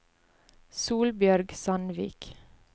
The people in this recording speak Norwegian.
Solbjørg Sandvik